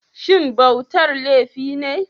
Shin bautar laifi ne?